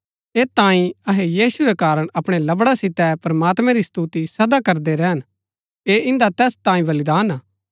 ऐत तांई अहै यीशु रै कारण अपणै लवड़ा सितै प्रमात्मैं री स्तुति सदा करदै रैहन ऐह इन्दा तैस तांये बलिदान हा